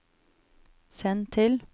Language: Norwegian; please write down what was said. send til